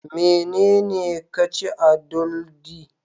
Menene ka ci a doldi